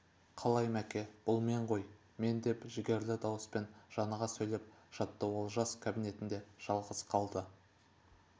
қалай мәке бұл мен ғой мен деп жігерлі дауыспен жаныға сөйлеп жатты олжас кабинетінде жалғыз қалды